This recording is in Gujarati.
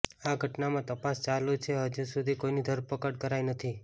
આ ઘટનામાં તપાસ ચાલુ છે અને હજુસુધી કોઈની ધરપકડ કરાઈ નથી